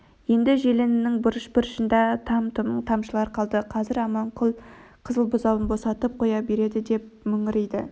енді желінінің бұрыш-бұрышыңда там-тұм тамшылар қалды қазір аманкүл қызыл бұзауын босатып қоя береді деп мөңірейді